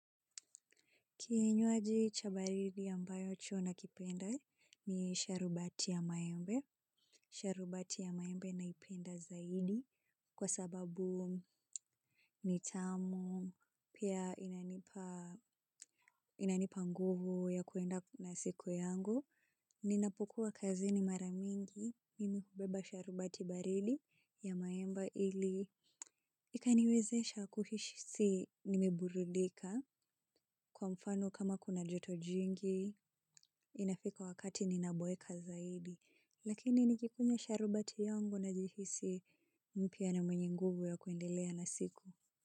Kinywaji cha baridi ambacho nakipenda ni sharubati ya maembe. Sharubati ya maembe naipenda zaidi kwa sababu ni tamu pia inanipa nguvu ya kuenda na siku yangu. Ninapokuwa kazi ni mara mingi mimi hubeba sharubati baridi ya maembe ili. Ikaniwezesha kuhisi nimeburudika kwa mfano kama kuna joto jingi. Inafika wakati ninaboeka zaidi lakini nikikunywa sharubati yangu najihisi mpya na mwenye nguvu ya kuendelea na siku.